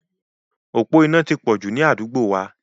Òpó iná ti pọ̀ jù ni àdúgbò wa.